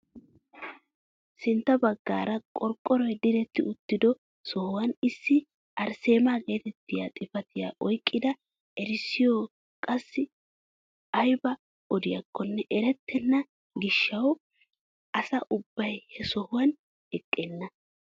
Sintta baggaara qorqqoroy diretti utido sohuwaan issi arisseemaa getettiyaa xifatiyaa oyqqida erissoy qassi aybaa odiyaakonne erettena giishshawu asa ubbay he sohuwaan eqqenna!